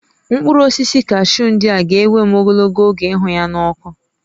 Mkpụrụ osisi kashuu ndị a ga-ewe m ogologo oge ịhụ ya n'ọkụ